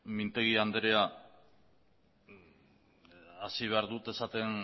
mintegi andrea hasi behar dut esaten